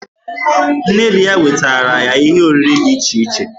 Nne di ya wetaara ye ihe oriri dị iche iche.